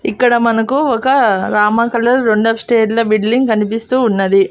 ఇక్కడ మనకు ఒక రామ కలర్ రెండ ల బిల్డింగ్ కనిపిస్తూ ఉన్నది.